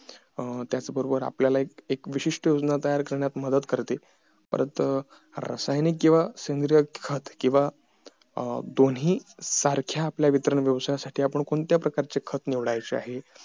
अं त्याच बरोबर आपल्याला एक विशिष्ट योजना तयार करण्यात मदत करते परत रासायनिक किंवा सेंद्रिय खत किंवा दोन्ही सारख्या आपल्या वितरण व्यवसायसाठी आपण कोणत्या प्रकारचा खत निवडायचे आहे